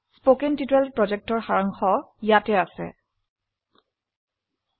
এটি কথ্য টিউটোৰিয়াল প্ৰকল্পকে সাৰসংক্ষেপে বোঝায়